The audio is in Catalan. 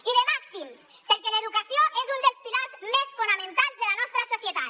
i de màxims perquè l’educació és un dels pilars més fonamentals de la nostra societat